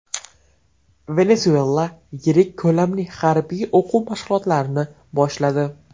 Venesuela yirik ko‘lamli harbiy o‘quv mashg‘ulotlarni boshladi.